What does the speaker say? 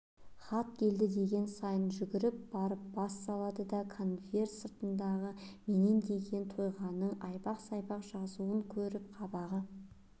хат келген сайын жүгіріп барып бас салады да конверт сыртындағы меннен деген тойғанның айбақ-сайбақ жазуын көріп қабағы